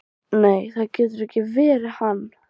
Nei, það getur ekki verið hann.